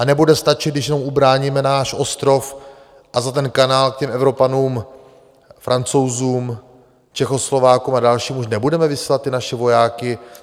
A nebude stačit, když jenom ubráníme náš ostrov a za ten kanál k těm Evropanům, Francouzům, Čechoslovákům a dalším už nebudeme vysílat ty naše vojáky?